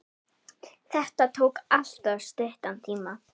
Þetta tók alltof stuttan tíma.